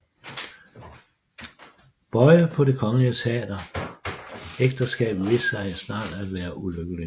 Boye på Det Kongelige Teater Ægteskabet viste sig snart at være ulykkeligt